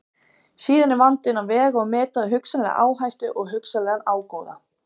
Síðan er vandinn að vega og meta hugsanlega áhættu og hugsanlegan ágóða.